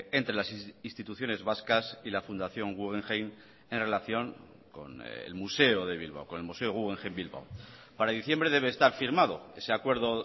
entre las instituciones vascas y la fundación guggenheim en relación con el museo de bilbao con el museo guggenheim bilbao para diciembre debe estar firmado ese acuerdo